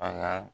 A ka